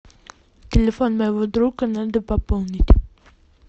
телефон моего друга надо пополнить